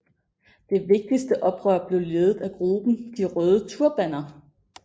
Det vigtigste oprør blev ledet af gruppen De røde turbaner